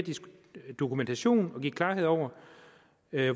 dokumentation og give klarhed over